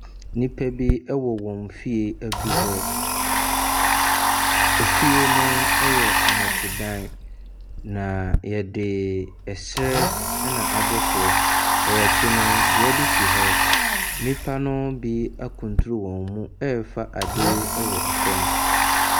Nnipa bi ɛwɔ wɔn fie aduhɔ. Efie no yɛ nnɔte dan na yɛde ɛsrɛ na abɔ so. Wɔ wɔnkyi no dua bi si hɔ. Nnipa no bi akunturu wɔn mu ɛɛfa ade wɔ ɛfam.